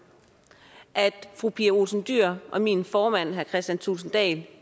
at fru pia olsen dyhr og min formand herre kristian thulesen dahl